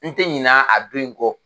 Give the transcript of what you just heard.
N tɛ ɲina a don in kɔ